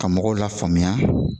Ka mɔgɔw la faamuya